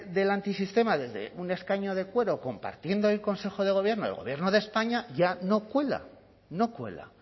del antisistema desde un escaño adecuado compartiendo el consejo de gobierno el gobierno de españa ya no cuela no cuela